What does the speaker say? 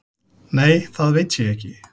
Nei, það veit ég ekki